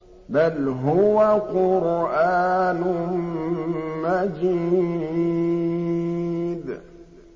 بَلْ هُوَ قُرْآنٌ مَّجِيدٌ